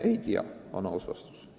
Me ei tea, on aus vastus.